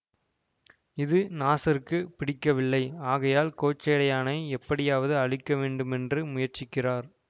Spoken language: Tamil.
இது நாசருக்கு பிடிக்கவில்லை ஆகையால் கோச்சடையானை எப்படியாவது அழிக்க வேண்டுமென்று முயற்சிக்கிறார்